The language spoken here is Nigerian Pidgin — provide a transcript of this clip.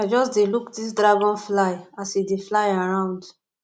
i just dey look dis dragonfly as e dey fly around